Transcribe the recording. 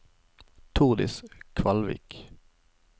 Tordis Kvalvik